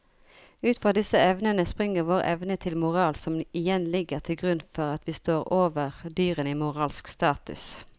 Ut fra disse evnene springer vår evne til moral som igjen ligger til grunn for at vi står over dyrene i moralsk status.